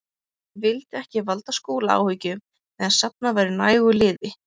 Ég vildi ekki valda Skúla áhyggjum meðan safnað væri nægu liði.